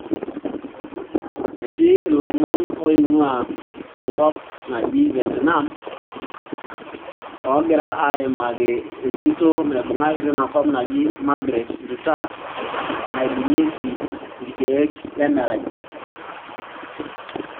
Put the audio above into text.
etii loomon oinguaa enkop naaji vietnam ogira aimaki entito naibungaki tinaa kop naji margaret nduta naibungieki ilkeek lemeraii